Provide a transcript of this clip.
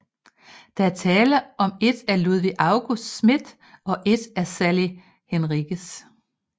Der er tale om et af Ludvig August Smith og et af Sally Henriques